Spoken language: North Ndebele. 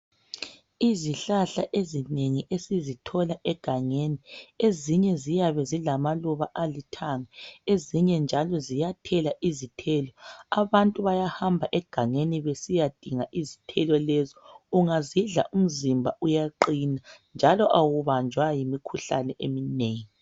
Izihlahla ezinengi esizithola egangeni ezinye ziyabe zilamaluba alithanga, ezinye njalo ziyathela izithelo. Abantu bayahamba egangeni besiyadinga izithelo lezo ungazidla umzimba uyaqina njalo awubanjwa yimikhuhlane eminengi.